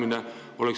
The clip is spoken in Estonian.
Aitäh!